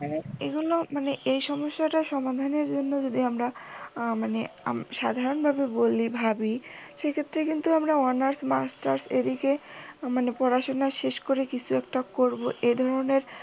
হ্যাঁ এগুলো এই সমস্যাটা সমাধানের জন্য যদি আমরা মানে আমরা সাধারণ ভাবে বলি ভাবি সেক্ষেত্রে কিন্তু আমরা অনার্স মাস্টার্স এদিকে মানে পড়াশুনা শেষ করে কিছু একটা করব এধরনের